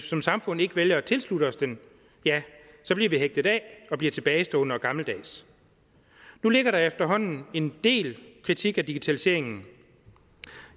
som samfund ikke vælger at tilslutte os den ja så bliver vi hægtet af og bliver tilbagestående og gammeldags nu ligger der efterhånden en del kritik af digitaliseringen